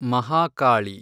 Mahakali